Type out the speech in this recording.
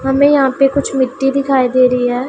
हमें यहां पे कुछ मिट्टी दिखाई दे रही हैं।